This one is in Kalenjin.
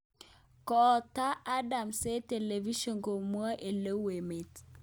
Kotaak Adams eng television komwae oleu emet